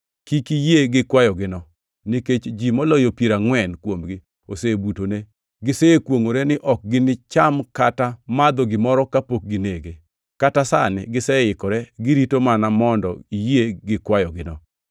Kik iyie gi kwayogino nikech ji moloyo piero angʼwen kuomgi osebutone. Gisekwongʼore ni ok ginicham kata madho gimoro kapok ginege. Kata sani giseikore, girito mana mondo iyie gi kwayogino.”